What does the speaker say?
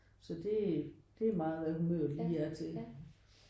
Så det det er meget hvad humøret lige er til